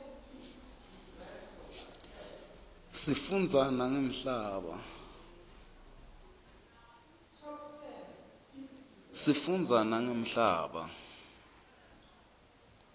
sifundza nangemhlaba